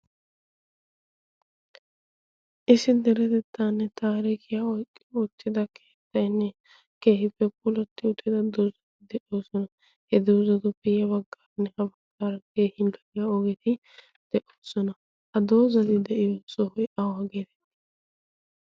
issi deretettanne taariikiya oottida keettainne kehiippe pulotti utida doozati de'oosona. he doozatu piyiya baggaaanne ha baggaara keehin daiya ogetii de'oosona. ha doozati de'iyo sohoy awa geete?